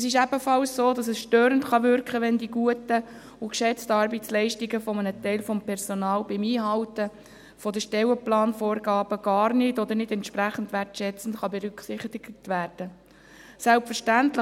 Es ist ebenfalls so, dass es störend wirken kann, wenn die guten und geschätzten Arbeitsleistungen des Personals beim Einhalten der Stellenplanvorgaben gar nicht oder nicht entsprechend wertschätzend berücksichtigt werden können.